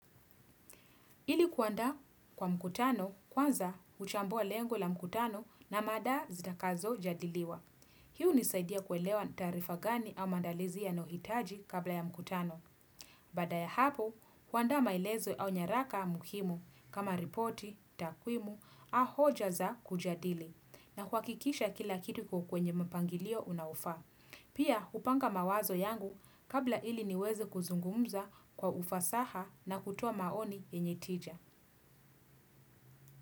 Ili kuandaa kwa mkutano kwanza huchambua lengo la mkutano na mada zitakazojadiliwa. Hi unisaidia kuelewa taarifa gani au maandalizi ya nayohitaji kabla ya mkutano. Baada ya hapo kuanda mailezo au nyaraka muhimu kama ripoti, takwimu a hoja za kujadili na kuwakikisha kila kitu kwenye mpangilio unaufaa. Pia upanga mawazo yangu kabla ili niweze kuzungumza kwa ufasaha na kutoa maoni yenye tija. Muzika.